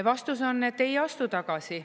Vastus on, et ei astu tagasi.